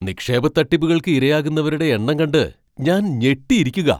നിക്ഷേപ തട്ടിപ്പുകൾക്ക് ഇരയാകുന്നവരുടെ എണ്ണം കണ്ട് ഞാൻ ഞെട്ടിയിരിക്കുകാ.